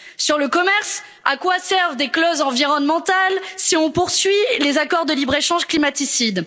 Sur le commerce, à quoi servent des clauses environnementales, si l'on poursuit les accords de libre échange climaticides?